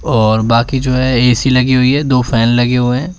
और बाकी जो है ए_सी लगी हुई है दो फैन लगे हुए हैं।